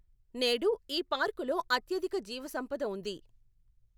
నేడు, ఈ పార్కులో అత్యధిక జీవసంపద ఉంది.